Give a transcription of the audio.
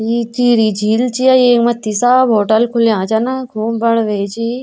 यि टिहरी झील च येक मत्थि सब होटल खुल्यां छन खूब बड़ु वे छी।